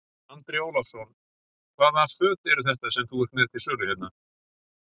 Andri Ólafsson: Hvaða föt eru þetta sem þú ert með til sölu hérna?